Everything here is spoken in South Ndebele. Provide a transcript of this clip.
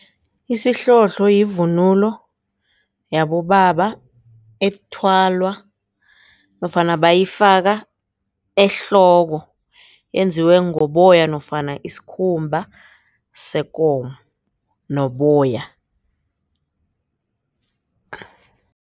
Isihlohlo yivunulo yabobaba ethwalwa nofana bayifaka ehloko yenziwe ngoboya nofana isikhumba sekomo noboya.